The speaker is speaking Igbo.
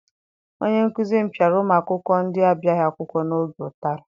Onye nkụzi m piara ụmụ akwụkwọ ndị abịaghị akwụkwọ n'oge ụtarị.